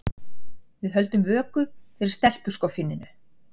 Við höldum vöku fyrir stelpuskoffíninu.